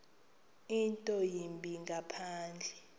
nto yimbi ngaphandle